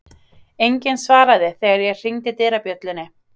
Enginn svaraði þegar ég hringdi dyrabjöllunni.